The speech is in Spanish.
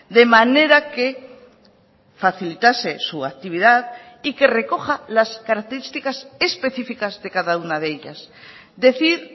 de manera que facilitase su actividad y que recoja las características específicas de cada una de ellas decir